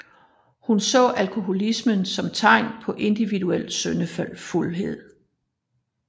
Hun så alkoholisme som tegn på individuel syndefuldhed